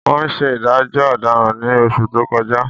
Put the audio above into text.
Wọ́n ṣe ìdájọ́ ọ̀daràn ní oṣù tó kọjá